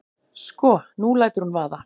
Sko. nú lætur hún vaða.